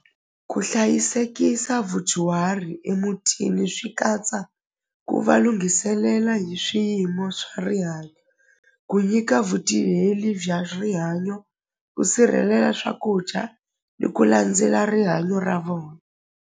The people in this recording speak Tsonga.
Ku hlayisekisa vudyuhari emutini swi katsa ku va lunghiselela hi swiyimo swa rihanyo ku nyika bya rihanyo ku sirhelela swakudya ni ku landzela rihanyo ra .